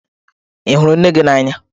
Ị hụrụ nne gị n'anya?